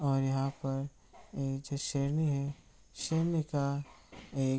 और यहाँ पर नीचे शेरनी है। शेरनी का एक --